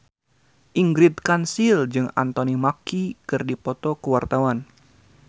Ingrid Kansil jeung Anthony Mackie keur dipoto ku wartawan